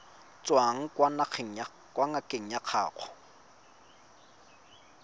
tswang kwa ngakeng ya gago